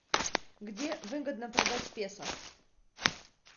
где выгодно продать песо